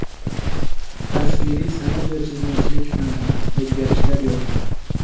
Tasviriy sanʼat va chizmachilik fani: o‘zgarishlar yo‘q.